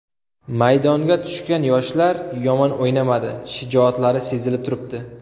Maydonga tushgan yoshlar yomon o‘ynamadi, shijoatlari sezilib turibdi.